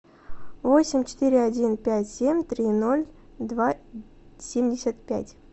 восемь четыре один пять семь три ноль два семьдесят пять